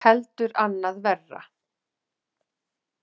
Heldur annað verra.